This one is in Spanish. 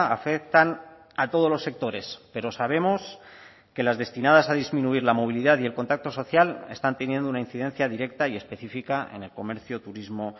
afectan a todos los sectores pero sabemos que las destinadas a disminuir la movilidad y el contacto social están teniendo una incidencia directa y específica en el comercio turismo